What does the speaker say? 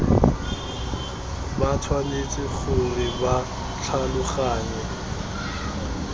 ba tshwanetse gore ba tlhaloganye